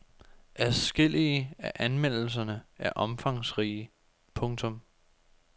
Adskillige af anmeldelserne er omfangsrige. punktum